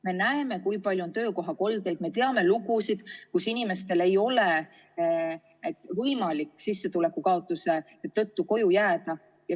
Me näeme, kui palju on töökohakoldeid, ja me teame lugusid, kuidas inimestel ei ole võimalik sissetuleku kaotuse tõttu koju jääda.